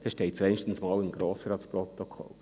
So steht es wenigstens einmal im Grossratsprotokoll.